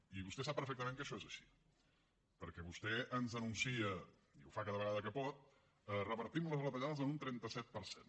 i vostè sap perfectament que això és així perquè vostè ens anuncia i ho fa cada vegada que pot revertim les retallades en un trenta set per cent